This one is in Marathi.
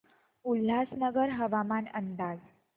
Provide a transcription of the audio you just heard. उल्हासनगर हवामान अंदाज